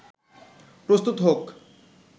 প্রস্তুত হোক